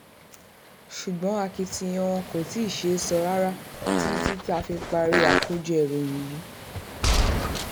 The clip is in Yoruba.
ṣùgbọ́n akitiyan wọn kò tí um ì sèso rere títí tá a fi parí àkójọ ìròyìn yìí um